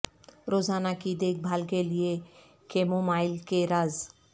روزانہ کی دیکھ بھال کے لئے کیمومائل کے راز